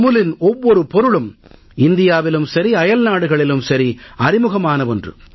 அமுலின் ஒவ்வொரு பொருளும் இந்தியாவிலும் சரி அயல்நாடுகளிலும் சரி அறிமுகமான ஒன்று